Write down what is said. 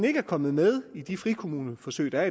ikke er kommet med i de frikommuneforsøg der